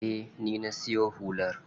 Eh, ni na siyo hular.